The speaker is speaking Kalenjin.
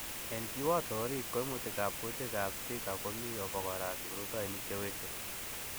En kiwoto orit, Koimutikab kutikab Zika komi obokora kipruotinik chewekse.